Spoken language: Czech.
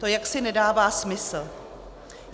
To jaksi nedává smysl.